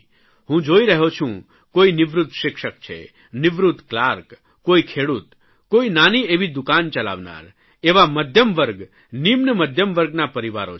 હું જોઇ રહ્યો છું કોઇ નિવૃત્ત શિક્ષક છે નિવૃત્ત કલાર્ક કોઇ ખેડૂત કોઇ નાની એવી દુકાન ચલાવનાર એવા મધ્યમવર્ગ નિમ્ન મધ્યમવર્ગના પરિવારો છે